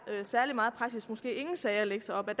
særlig meget praksis måske ingen sager at lægge sig op af